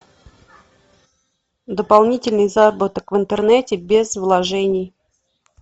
дополнительный заработок в интернете без вложений